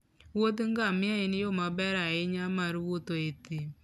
wuodh ngamia en yo maber ahinya mar wuotho e thim.